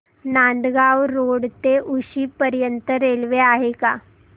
Nandgaon road ते उक्षी पर्यंत railway आहे का